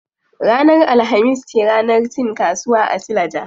Ranar alhamis ce ranar cin kasuwa a suleja.